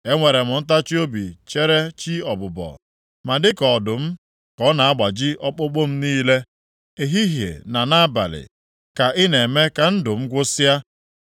Enwere m ntachiobi chere chi ọbụbọ. Ma dịka ọdụm ka ọ na-agbaji ọkpụkpụ m niile. Ehihie na nʼabalị ka ị na-eme ka ndụ m gwụsịa.